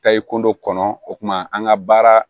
Tayi ko dɔ kɔnɔ o tuma an ka baara